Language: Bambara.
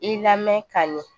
I lamɛn ka ɲɛ